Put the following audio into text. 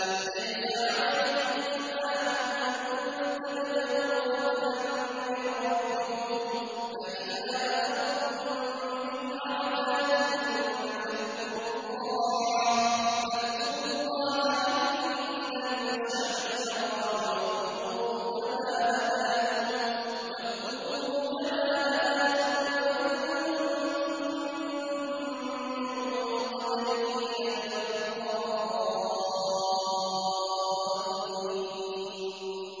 لَيْسَ عَلَيْكُمْ جُنَاحٌ أَن تَبْتَغُوا فَضْلًا مِّن رَّبِّكُمْ ۚ فَإِذَا أَفَضْتُم مِّنْ عَرَفَاتٍ فَاذْكُرُوا اللَّهَ عِندَ الْمَشْعَرِ الْحَرَامِ ۖ وَاذْكُرُوهُ كَمَا هَدَاكُمْ وَإِن كُنتُم مِّن قَبْلِهِ لَمِنَ الضَّالِّينَ